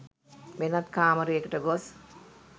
වෙනත් කාමරයකට ගොස්